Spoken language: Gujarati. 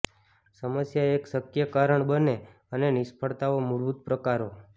સમસ્યા એક શક્ય કારણ બને અને નિષ્ફળતાઓ મૂળભૂત પ્રકારો